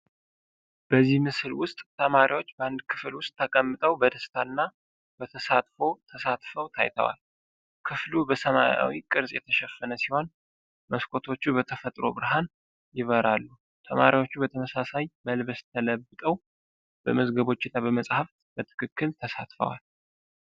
በዚህ ምስል ውስጥ ተማሪዎች በአንድ ክፍል ውስጥ ተቀምጠው በደስታ እና በተሳትፎ ተሳትፈው ታይተዋል። ክፍሉ በሰማያዊ ቅርጽ ተሸፈነ ሲሆን፣ መስኮቶቹ በተፈጥሮ ብርሃን ይበራሉ። ተማሪዎቹ በተመሳሳይ መልበስ ተለብጠው በመዝገቦች እና በመፅሀፍት በትክክል ተሳትፈዋል።